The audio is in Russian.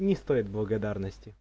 не стоит благодарности